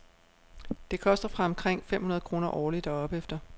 Det koster fra omkring fem hundrede kroner årligt og opefter.